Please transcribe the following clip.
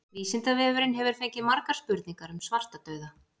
Vísindavefurinn hefur fengið margar spurningar um svartadauða.